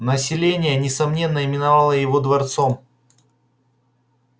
население несомненно именовало его дворцом